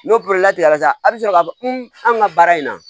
N'o porobilɛmu tigɛra sa a bɛ sɔrɔ k'a fɔ an ka baara in na